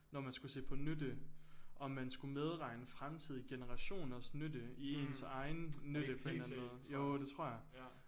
Når man skulle se på nytte om man skulle medregne fremtidige generationers nytte i ens egen nytte på en eller anden måde jo det tror jeg